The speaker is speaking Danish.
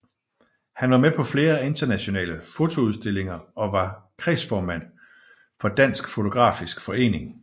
Han var med på flere internationale fotoudstillinger og var kredsformand for Dansk Fotografisk Forening